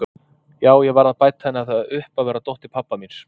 Já, ég varð að bæta henni það upp að vera dóttir pabba míns.